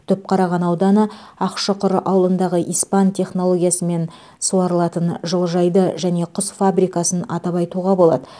түпқараған ауданы ақшұқыр ауылындағы испан технологиясымен суарылатын жылыжайды және құс фабрикасын атап айтуға болады